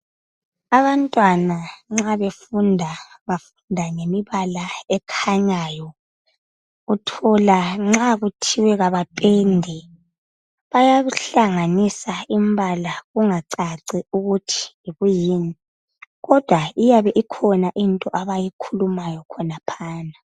Abantwana nxa befunda, bafunda ngemibala ekhanyayo. Uthola nxa kuthiwe kabapende, bayahlanganisa imbala kungacaci ukuthi yikwiyini kodwa uyabe ikhona into abayikhulumayo khonaphana.